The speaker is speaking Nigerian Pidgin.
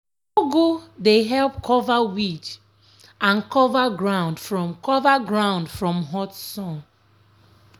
ugu dey help cover weed and cover ground from cover ground from hot sun.